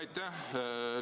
Aitäh!